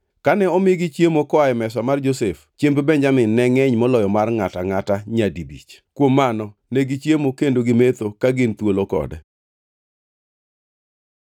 Kane omigi chiemo koa e mesa mar Josef, chiemb Benjamin ne ngʼeny moloyo mar ngʼato angʼata nyadibich. Kuom mano negichiemo kendo gimetho ka gin thuolo kode.